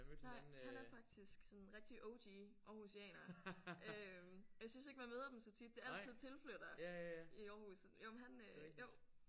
Nej han er faktisk sådan rigtig O G aarhusianer øh og jeg synes ikke man møder dem så tit det er altid tilflyttere i Aarhus jo men han øh jo